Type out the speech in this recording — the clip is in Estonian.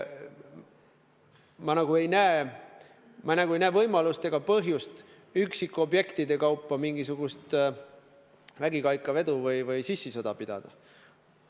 Ma nagu ei näe võimalust ega põhjust üksikobjektide kaupa mingisugust vägikaikavedu või sissisõda pidada.